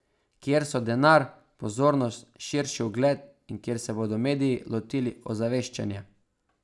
Kjer so denar, pozornost, širši ugled in kjer se bodo mediji lotili ozaveščanja.